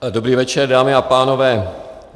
Dobrý večer, dámy a pánové.